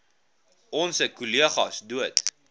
onse kollegas dood